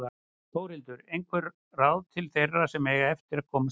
Þórhildur: Einhver ráð til þeirra sem eiga eftir að komast heim?